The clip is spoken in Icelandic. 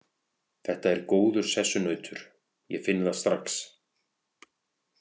Þetta er góður sessunautur, ég finn það strax.